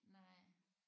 Nej